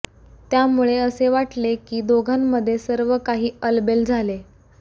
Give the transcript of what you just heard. त्यामुळे असे वाटले की दोघांमध्ये सर्व काही अलबेल झाले